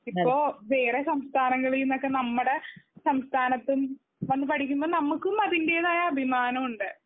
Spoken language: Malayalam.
ഇപ്പൊ വേറെ സംസ്ഥാനങ്ങളിൽ നിന്നൊക്കെ നമ്മുടെ സംസ്ഥാനത്തും വന്നു പഠിക്കുമ്പോൾ നമ്മുക്കും അതിന്റെതായ അഭിമാനം ഉണ്ട്.